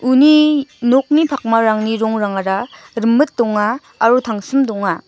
uni nokni pakmarangni rongrangara rimit donga aro tangsim donga.